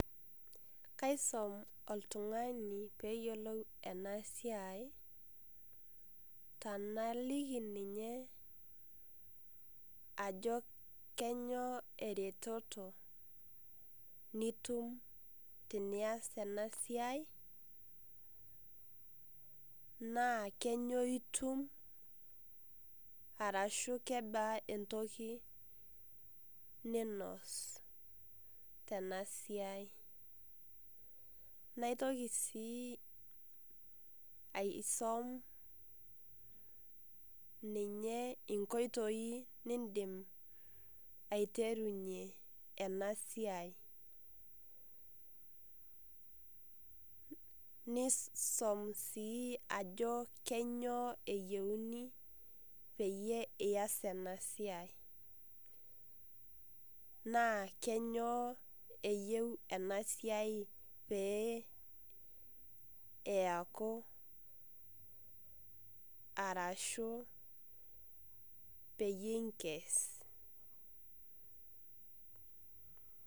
kaisum oltung'ani pee eyiolou ena siai tenaliki ninye Ajo kenyoo eretoto nitum tenias ena siai naa kenyoo etum arashu kebaa entoki ninos Tena siai naitoki sii aisom ninye nkoitoi nidim aiterunye ena siai nisom sii Ajo kenyoo eyiuni peyie eyas ena siai naa kenyoo eyiu ena siai pee eyaku arashu peyie enkes